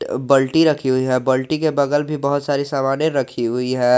अह बाल्टी रखी हुई है बाल्टी के बगल भी बहुत सारी सामानें रखी हुई है।